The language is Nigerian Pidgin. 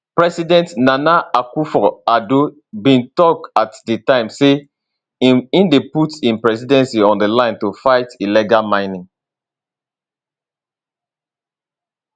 president nana akufoaddo bin tok at di time say im dey put im presidency on di line to fight illegal mining